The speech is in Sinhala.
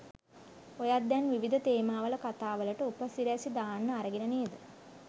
ඔයත් දැන් විවිධ තේමාවල කතා වලට උපසිරැසි දාන්න අරගෙන නේද?